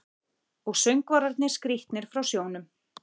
Og söngvarnir skrítnir frá sjónum.